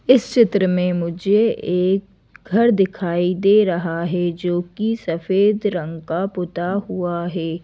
इस चित्र में मुझे एक घर दिखाई दे रहा है जो कि सफेद रंग का पुता हुआ है।